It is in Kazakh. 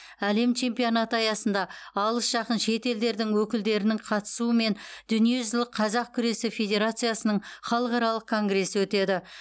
әлем чемпионаты аясында алыс жақын шет елдердің өкілдерінің қатысуымен дүниежүзілік қазақ күресі федерациясының халықаралық конгресі өтеді